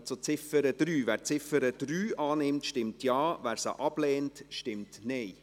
Wer die Ziffer 3 annimmt, stimmt Ja, wer diese ablehnt, stimmt Nein.